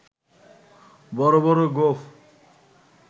বড় বড় গোঁফ